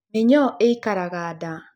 Mĩnyoo ĩikaraga nda.